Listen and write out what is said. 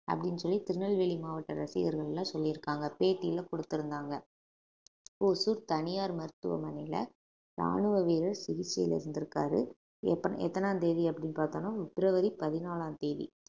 அப்படின்னு சொல்லி திருநெல்வேலி மாவட்ட ரசிகர்கள்லாம் சொல்லி இருக்காங்க பேட்டியில கொடுத்திருந்தாங்க ஓசூர் தனியார் மருத்துவமனையில ராணுவ வீரர் சிகிச்சையில இருந்திருக்காரு எத்தனை எத்தனா தேதி அப்படின்னு பார்த்தோம்ன்னா பிப்ரவரி பதினாலாம் தேதி